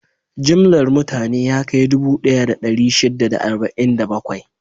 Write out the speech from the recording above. Jimllar mutane ya kai dubu ɗaya da ɗari shida da arba'in da bakwai.